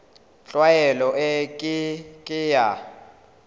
tlwaelo e ke ke ya